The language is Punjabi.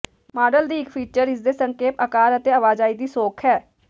ਮਾਡਲ ਦੀ ਇੱਕ ਫੀਚਰ ਇਸ ਦੇ ਸੰਖੇਪ ਆਕਾਰ ਅਤੇ ਆਵਾਜਾਈ ਦੀ ਸੌਖ ਹੈ